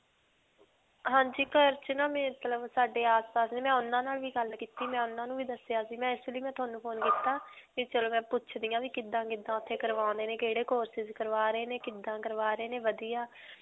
ਹਾਂਜੀ. ਘਰ 'ਚ ਨਾ ਮਤਲਬ ਸਾਡੇ ਆਸ-ਪਾਸ ਉਨ੍ਹਾਂ ਨਾਲ ਵੀ ਗੱਲ ਕੀਤੀ. ਮੈਂ ਉਨ੍ਹਾਂ ਨੂੰ ਵੀ ਦੱਸਿਆ ਸੀ. ਮੈਂ ਇਸ ਲਈ ਮੈਂ ਤੁਹਾਨੂੰ phone ਕੀਤਾ, ਵੀ ਚਲੋ ਮੈਂ ਪੁੱਛਦੀ ਹਾਂ ਵੀ ਕਿੱਦਾਂ-ਕਿੱਦਾਂ ਓੱਥੇ ਕਰਵਾਉਂਦੇ ਨੇ, ਕਿਹੜੇ courses ਕਰਵਾ ਰਹੇ ਨੇ, ਕਿੱਦਾਂ ਕਰਵਾ ਰਹੇ ਨੇ ਵਧੀਆ.